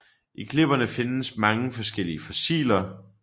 I klipperne findes mange forskellige fossiler